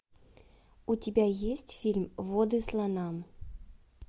у тебя есть фильм воды слонам